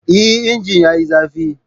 Eh! injin yayi zafi.